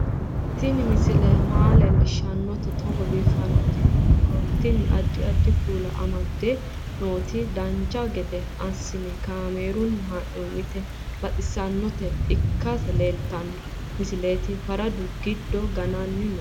Tini misile maa leellishshannote togo biiffinoti yinummoro tini. addi addi kuula amadde nooti dancha gede assine kaamerunni haa'noonniti baxissannota ikkite leeltanno misileeti faradu gide gananni no